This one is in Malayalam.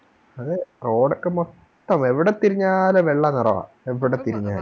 അതെ Road ഒക്കെ മൊത്തം എവിടെ തിരിഞ്ഞാലും വെള്ള നിറവ എവിടെ തിരിഞ്ഞാലും